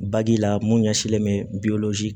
Baji la mun ɲɛsinnen bɛ